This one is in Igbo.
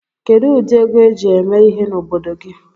Kedụ ụdị ego eji eme ihe n'obodo gị?